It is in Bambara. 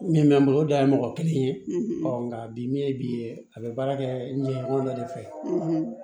Min bɛ n bolo o da ye mɔgɔ kelen ye nka bi min ye bi ye a bɛ baara kɛ ɲɛko dɔ de fɛ